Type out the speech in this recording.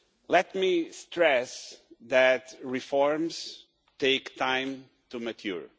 Let me stress that reforms take time to mature.